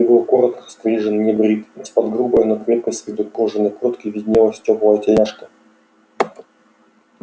тот был коротко стрижен небрит из-под грубой но крепкой с виду кожаной куртки виднелась тёплая тельняшка